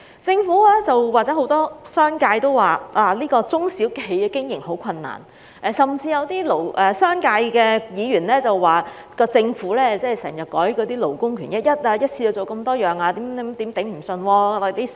政府及很多商界人士也說，中小企業經營很困難，甚至有些商界的議員批評政府經常修改勞工權益，一次過要落實多項建議，聲言商界會吃不消。